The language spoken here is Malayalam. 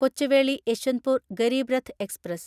കൊച്ചുവേളി യശ്വന്ത്പൂർ ഗരീബ് രത്ത് എക്സ്പ്രസ്